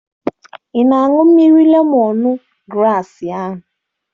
Ị na-aṅụ mmiri lemọn graasị ahụ?